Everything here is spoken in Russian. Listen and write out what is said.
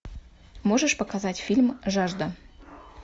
можешь показать фильм жажда